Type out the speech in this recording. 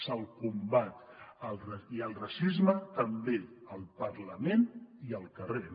se’l combat i al racisme també al parlament i al carrer